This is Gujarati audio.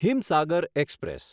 હિમસાગર એક્સપ્રેસ